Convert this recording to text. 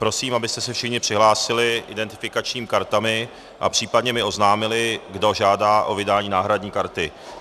Prosím, abyste se všichni přihlásili identifikačními kartami a případně mi oznámili, kdo žádá o vydání náhradní karty.